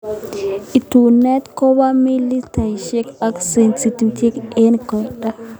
Etunet kobee mililitaishek ak sentimitaishek eng koindo.